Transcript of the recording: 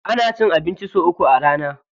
Ana cin abinci sau uku a rana.